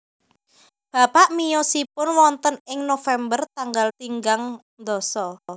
Bapak miyosipun wonten ing November tanggal tinggang ndasa